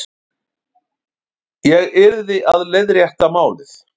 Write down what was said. Ég yrði að leiðrétta málið.